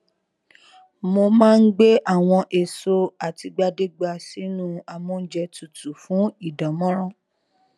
mo má n gbé àwọn èso àtìgbàdégbà sínú amóúnjẹ tutù fún ìdánmọrán